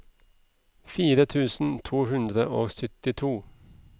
fire tusen to hundre og syttito